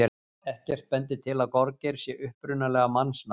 Ekkert bendir til að gorgeir sé upprunalega mannsnafn.